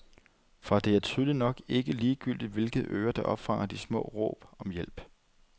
For det er tydeligt nok ikke ligegyldigt, hvilke ører der opfanger de smås råb om hjælp.